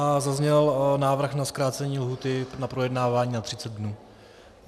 A zazněl návrh na zkrácení lhůty na projednávání na 30 dnů.